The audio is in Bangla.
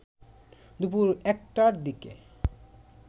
দুপুর ১টার দিকে